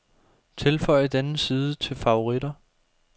Tilføj denne side til favoritter.